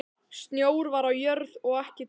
Snjór var á jörð og ekki dimmt.